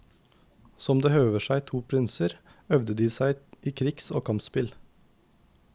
Som det høver seg to prinser, øvde de seg i krigs og kampspill.